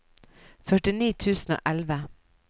førtini tusen og elleve